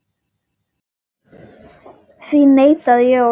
Því neitaði Jón.